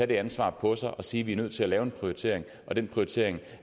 det ansvar på os og sige at vi er nødt til at lave en prioritering i den prioritering